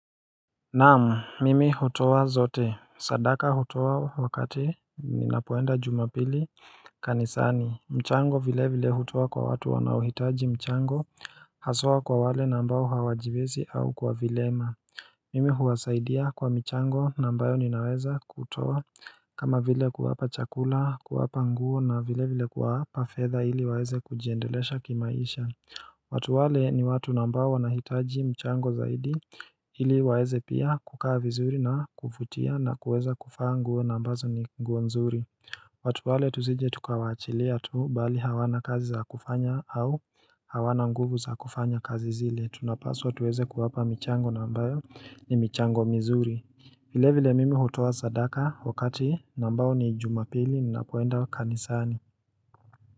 Naamu mimi hutua zote sadaka hutua wakati ninapoenda jumapili kanisani mchango vile vile hutua kwa watu wanauhitaji mchango hasoa kwa wale nambao hawajibizi au kwa vilema Mimi huwasaidia kwa mchango nambayo ninaweza kutua kama vile kuwapa chakula kuwapa nguo na vile vile kuwaapa feather ili waeze kujiendelesha kimaisha watu wale ni watu nambao wanahitaji mchango zaidi ili waeze pia kukaa vizuri na kufutia na kuweza kufa nguo na ambazo ni nguwe nzuri watu wale tuzije tukawachilia tu bali hawana kazi za kufanya au hawana nguvu za kufanya kazi zile tunapaswa tuweze kuwapa mchango nambayo ni mchango mzuri vile vile mimi hutuwa zadaka wakati nambao ni jumapili na kuenda kanisani.